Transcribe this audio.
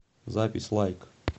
запись лайк